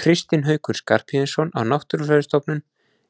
Kristinn Haukur Skarphéðinsson á Náttúrufræðistofnun